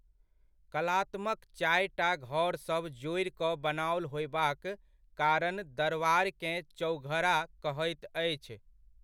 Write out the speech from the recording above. कलात्मक चारिटा घरसभ जोड़ि कऽ बनाओल होयबाक कारण दरवारकेँ चौघरा कहैत अछि।